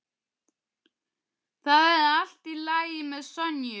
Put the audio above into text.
Það er allt í lagi með Sonju.